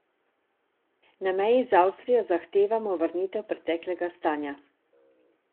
Na meji z Avstrijo zahtevamo vrnitev preteklega stanja.